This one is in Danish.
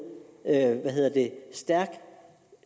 en stærk